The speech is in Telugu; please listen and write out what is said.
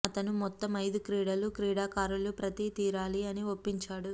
అతను మొత్తం ఐదు క్రీడలు క్రీడాకారులు ప్రతి తీరాలి అని ఒప్పించాడు